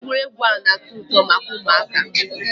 egwuregwu na-ato uto maka umuaka